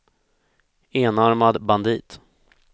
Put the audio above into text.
enarmad bandit